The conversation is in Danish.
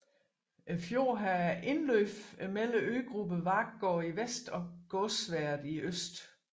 Fjorden har indløb mellem øgrupperne Varkgård i vest og Gåsværet i øst